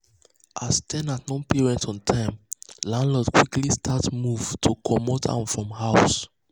as ten ant no pay rent on time landlord quickly start move to comot am from house.